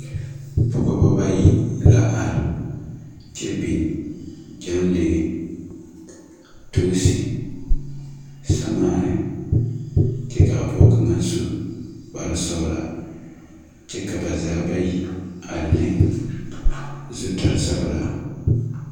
Pɔgba bayi la arẽ kye bing jenglee, toosi, samaani kye kaa poɔ kanga su kpare sɔglaa kye ka ba zaa bayi a le zutari sɔgla.